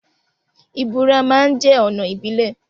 Ìburá ma ń jẹ́ ọ̀nà ìbílẹ̀.